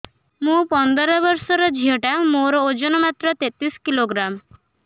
ମୁ ପନ୍ଦର ବର୍ଷ ର ଝିଅ ଟା ମୋର ଓଜନ ମାତ୍ର ତେତିଶ କିଲୋଗ୍ରାମ